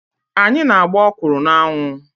Anyị na-agba ọkwụrụ na-anwụ.